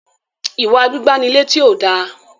iwa gbígbà ní létí o dá